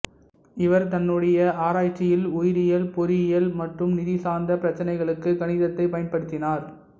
இவர் தன்னுடைய ஆராய்ச்சியில் உயிரியல் பொறியியல் மற்றும் நிதி சார்ந்த பிரச்சனைகளுக்கு கணிதத்தை பயன்படுத்தினார்